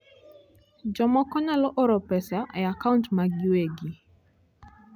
Jomoko nyalo oro pesa e akaunt maggi giwegi.